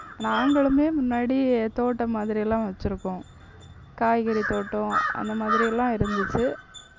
நாங்களுமே முன்னாடி தோட்டம் மாதிரியெல்லாம் வச்சிருக்கோம். காய்கறி தோட்டம் அந்த மாதிரி எல்லாம் இருந்துச்சு.